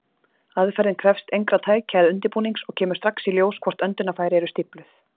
Aðferðin krefst engra tækja eða undirbúnings, og kemur strax í ljós hvort öndunarfæri eru stífluð.